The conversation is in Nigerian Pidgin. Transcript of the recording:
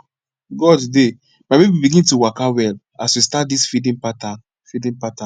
god dey my baby begin to waka well as we just start this feeding pattern feeding pattern